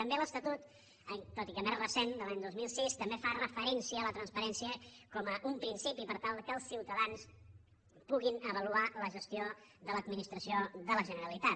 també l’estatut tot i que més recent de l’any dos mil sis fa referència a la transparència com un principi per tal que els ciutadans puguin avaluar la gestió de l’administració de la generalitat